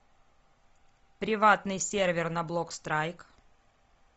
приватный сервер на блок страйк